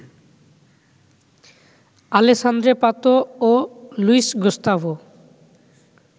Alejandro Pato ও Luis Gustavo